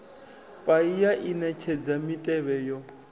paia i netshedza mitevhe yo